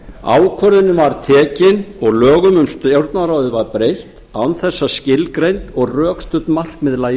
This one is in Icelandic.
ákvörðunin var tekin og lögum um stjórnarráðið var breytt án þess að skilgreind og rökstudd markmið lægju